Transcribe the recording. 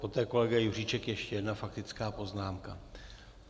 Poté kolega Juříček, ještě jedna faktická poznámka.